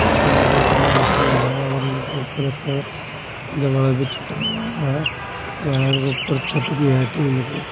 उसके अंदर जा के लाइट भी है और उनके ऊपर एक भी छुटा हुआ है वायर के ऊपर छत भी है टीन की।